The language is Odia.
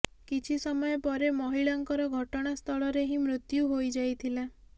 କିଛି ସମୟ ପରେ ମହିଳାଙ୍କର ଘଟଣାସ୍ଥଳରେ ହିଁ ମୃତ୍ୟୁ ହୋଇଯାଇଥିଲା